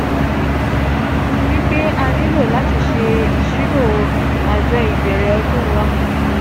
ati wipe a nilo lati ṣe iṣiro ajo ibẹrẹ ọdun wa (p).